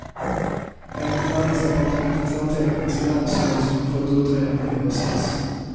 Enligt näringsdepartementets anteckningar ska länsstyrelsen ha fått utredningen i höstas.